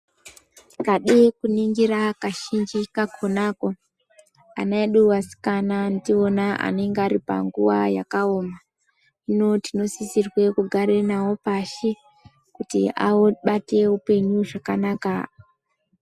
Ukada kuningira kazhinji kakona ana edu asikana ndiwona anenge Ari panguwa yakaoma hino tinosisirwa kugara nawo pashi kuti abate hupenyu zvakanaka.